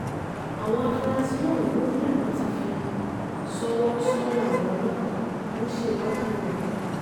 àwọn afurasí ọ̀hún ló ní àwọn ti fi ṣọwọ́ sọ́dọ̀ àwọn ọlọ́pàá tó ń ṣèwádìí ìwà ọ̀daràn